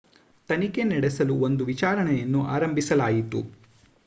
ತನಿಖೆ ನಡೆಸಲು ಒಂದು ವಿಚಾರಣೆಯನ್ನು ಆರಂಭಿಸಲಾಯಿತು